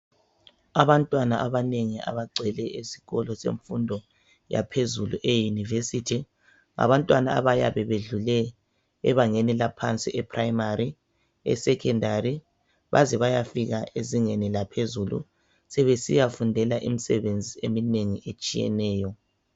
Abantwana abanengi abagcwele ezikolo zemfundo yaphezulu, eyinivesithi ngabantwana abayabe bedlule ebangeni laphansi ephilamali, esekhendali bazebayafika ezingeni laphezulu. Sebesiyafundile imisebenzi eminengi etshiyeneyo.